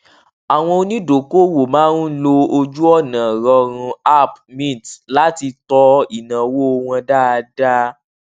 àwọn onídokoowó máa ń lo ojúọnà rọrùn app mint láti tọ ináwó wọn dáadáa